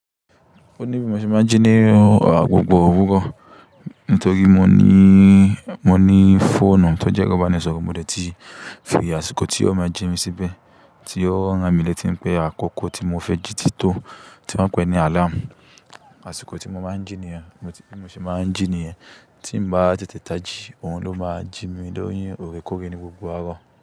Ó ní bí mo ṣe máa ń jí ní ọ̀pọ̀pọ̀ òwúrọ̀. Nítorí mo ní, mo ní fóònù tó jẹ́ kábànì sọ̀rọ̀, mo lè tì fi àṣìkò tí ó máa ń jí mi síbẹ̀, tí ó ń ràn mí letí pé àkókò tí mo fẹ́ jí tì tó tí wọ́n ń pè ní àláàmù. Àṣìkò tí mo máa ń jí nìyẹn, tí mo ṣe máa ń jí nìyẹn. Tí mo bá tètè taji, òun ló máa ń jí mi lọ́yún òrékóre ní gbogbo àárọ̀.